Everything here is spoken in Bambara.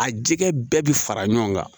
A jɛgɛ bɛɛ bi fara ɲɔgɔn kan